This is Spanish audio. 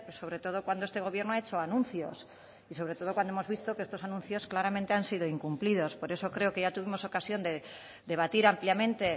sobre todo cuando este gobierno ha hecho anuncios y sobre todo cuando hemos visto que estos anuncios claramente han sido incumplidos por eso creo que ya tuvimos ocasión de debatir ampliamente